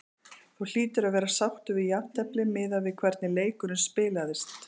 Þú hlýtur að vera sáttur við jafntefli miðað við hvernig leikurinn spilaðist?